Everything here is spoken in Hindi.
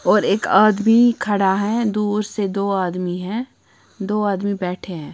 और एक आदमी खड़ा है दूर से दो आदमी हैं दो आदमी बैठे हैं।